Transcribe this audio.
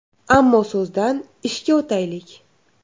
Ammo so‘zdan ishga o‘taylik.